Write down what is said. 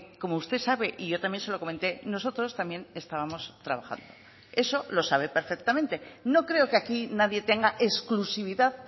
como usted sabe y yo también se lo comenté nosotros también estábamos trabajando eso lo sabe perfectamente no creo que aquí nadie tenga exclusividad